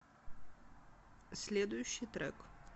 следующий трек